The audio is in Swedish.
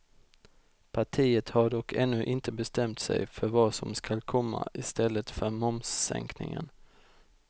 Partiet har dock ännu inte bestämt sig för vad som skall komma i stället för momssänkningen.